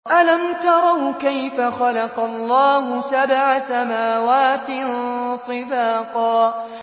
أَلَمْ تَرَوْا كَيْفَ خَلَقَ اللَّهُ سَبْعَ سَمَاوَاتٍ طِبَاقًا